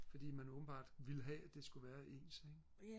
fordi man åbenbart ville have det skulle være ens ikke